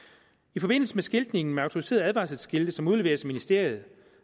i forbindelse med skiltningen med autoriserede advarselsskilte som udleveres af ministeriet